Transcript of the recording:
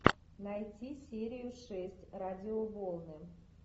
найти серию шесть радиоволны